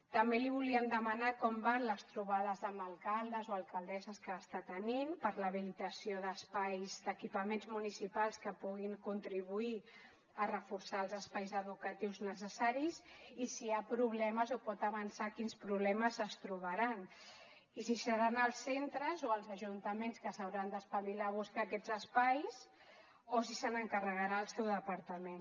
també li volíem demanar com van les trobades amb alcaldes o alcaldesses que està tenint per l’habilitació d’espais d’equipaments municipals que puguin contribuir a reforçar els espais educatius necessaris i si hi ha problemes o pot avançar quins problemes es trobaran i si seran els centres o els ajuntaments que s’hauran d’espavilar a buscar aquests espais o si se n’encarregarà el seu departament